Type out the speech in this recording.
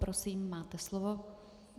Prosím, máte slovo.